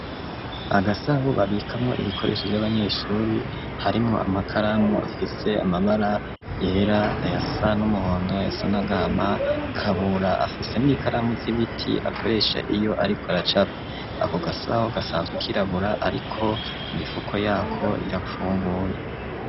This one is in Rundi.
Agasaho babikamwo ibikoresho vy'abanyeshuri harimwo amakaramu afise amabara yera ayasa n'umuhondo ayasa n'agahama Kabura afise m ikaramu z'ibiti akoresha iyo ariko aracapa, ako gasaho gasanzwe kirabura ariko imifuko yako irapfunguye.